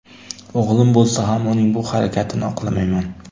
O‘g‘lim bo‘lsa ham uning bu harakatini oqlamayman .